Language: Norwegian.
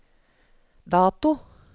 dato